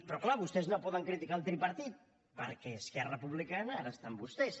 però clar vostès no poden criticar el tripartit perquè esquerra republicana ara està amb vostès